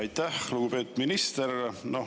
Aitäh, lugupeetud minister!